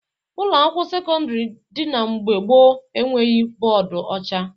Ụlọakwụkwọ sekọndịrị ndị dị mgbe gboo e nweghi bọọdụ ọcha